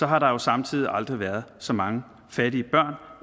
har der jo samtidig aldrig været så mange fattige børn